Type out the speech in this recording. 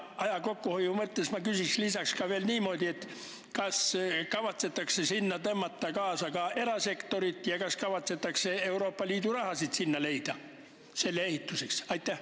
Aja kokkuhoiu mõttes ma küsin lisaks veel niimoodi: kas kavatsetakse ka erasektor kaasa tõmmata ja selleks ehituseks Euroopa Liidu raha leida?